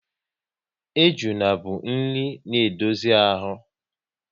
Ejuna bụ nri na edozi ahụ